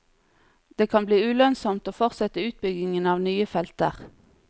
Det kan bli ulønnsomt å fortsette utbyggingen av nye felter.